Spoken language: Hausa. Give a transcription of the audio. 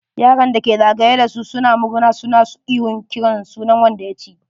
Yaran da ke za gaye da su suna murna suna ihon kiran sunan wanda ya ci.